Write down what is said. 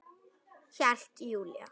Hélt Júlía.